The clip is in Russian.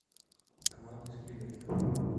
команда из пригорода